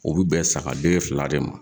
O bi bɛn saga den fila le ma